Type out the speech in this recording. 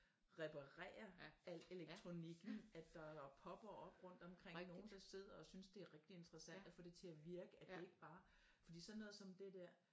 Reparere al elektronikken at der øh popper op rundt omkring nogen der sidder og synes det er rigtig interessant at få det til at virke at det ikke bare for sådan noget som det der